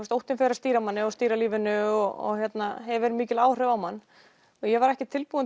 óttinn fer að stýra manni og stýra lífinu og hefur mikil áhrif á mann og ég var ekki tilbúin